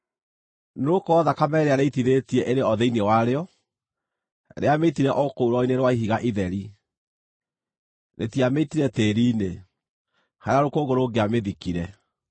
“ ‘Nĩgũkorwo thakame ĩrĩa rĩitithĩtie ĩrĩ o thĩinĩ warĩo: Rĩamĩitire o kũu rwaro-inĩ rwa ihiga itheri; rĩtiamĩitire tĩĩri-inĩ, harĩa rũkũngũ rũngĩamĩthikire.